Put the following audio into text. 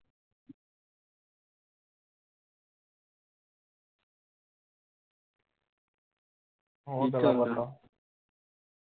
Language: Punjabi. ਹੋਰ?